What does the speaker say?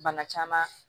Bana caman